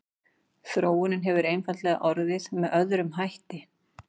þróunin hefur einfaldlega orðið með öðrum hætti